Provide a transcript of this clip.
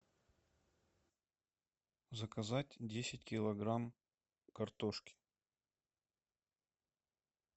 заказать десять килограмм картошки